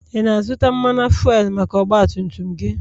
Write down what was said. ị na-azụta Mmanụ fuelu maka ọgbatumtum gị?